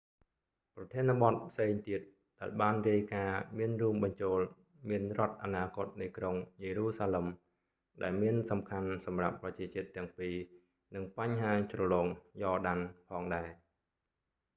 ប្រធានបទផ្សេងទៀត ដែលបានរាយការណ៍មានរួមបញ្ចូលមានរដ្ឋអនាគតនៃក្រុងយេរូសាឡិម ដែលមានសំខាន់សម្រាប់ប្រជាជាតិទាំងពីរ និងបញ្ហាជ្រលង យ៉រដាន់ jordan valley ផងដែរ